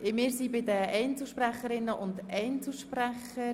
Wir sind bei den Einzelsprecherinnen und Einzelsprechern.